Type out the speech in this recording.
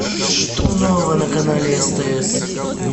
что нового на канале стс